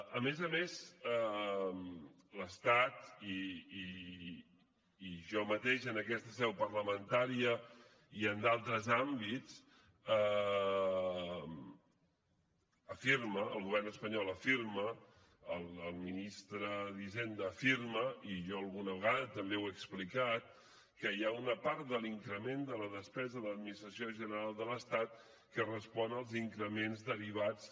a més a més l’estat i jo mateix en aquesta seu parlamentària i en d’altres àmbits afirma el govern espanyol afirma el ministre d’hisenda afirma i jo alguna vegada també ho he explicat que hi ha una part de l’increment de la despesa de l’administració general de l’estat que respon als increments derivats